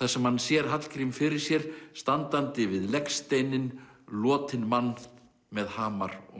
þar sem hann sér Hallgrím fyrir sér standandi við legsteininn lotinn mann með hamar og